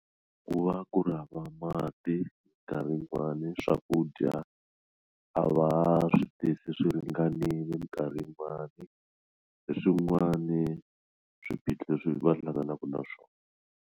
Ku va ku ri hava mati minkarhi yin'wani swakudya a va swi tisi swi ringanile minkarhi yin'wani hi swin'wani swiphiqo leswi va hlanganaka na swona.